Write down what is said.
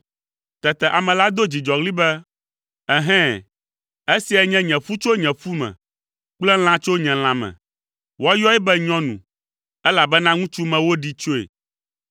Tete ame la do dzidzɔɣli be, “Ɛhɛ̃! Esiae nye ƒu tso nye ƒu me kple lã tso nye lãme. Woayɔe be ‘nyɔnu’, elabena ŋutsu me woɖee tsoe.”